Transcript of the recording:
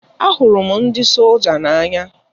A hụrụ m ndị solja n'anya.